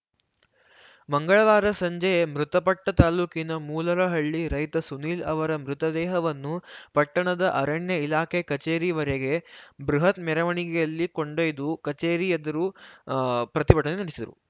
ಮಂಗಳವಾರ ಸಂಜೆ ಮೃತಪಟ್ಟತಾಲೂಕಿನ ಮೂಲರಹಳ್ಳಿ ರೈತ ಸುನೀಲ್‌ ಅವರ ಮೃತದೇಹವನ್ನು ಪಟ್ಟಣದ ಅರಣ್ಯ ಇಲಾಖೆ ಕಚೇರಿವರೆಗೆ ಬೃಹತ್‌ ಮೆರವಣಿಗೆಯಲ್ಲಿ ಕೊಂಡೊಯ್ದು ಕಚೇರಿ ಎದುರು ಅ ಪ್ರತಿಭಟನೆ ನಡೆಸಿದರು